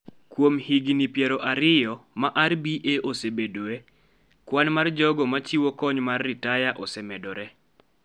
Kuom higini piero ariyo ma RBA osebedoe, kwan mar jogo machiwo kony mar ritaya osemedore.